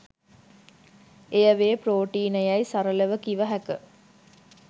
එය වේ ‍ප්‍රෝටීන යැයි සරලව කිව හැක.